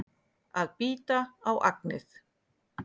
Að bíta á agnið